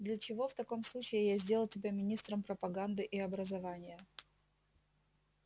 для чего в таком случае я сделал тебя министром пропаганды и образования